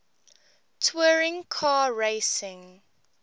touring car racing